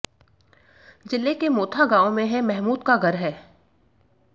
जिले के मोथा गांव में है महमूद का घर है